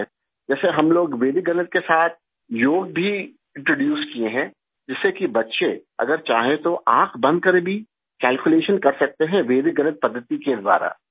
جیسے، ہم لوگ ویدک میتھ کے ساتھ یوگا بھی انٹروڈیوس کیے ہیں، جس سے کہ بچے اگر چاہیں تو آنکھ بند کرکے بھی کیلکولیشن کر سکتے ہیں ویدک میتھ کے ذریعے